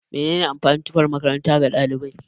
Mene ne amfanin tufan makaranta ga ɗalibai?